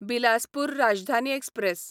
Bilaspur Rajdhani express